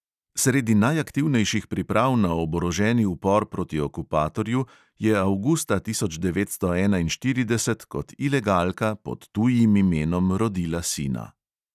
Sredi najaktivnejših priprav na oboroženi upor proti okupatorju je avgusta tisoč devetsto enainštirideset kot ilegalka pod tujim imenom rodila sina.